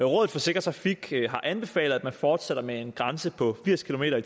rådet for sikker trafik har anbefalet at man fortsætter med en grænse på firs kilometer